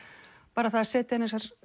bara það að setja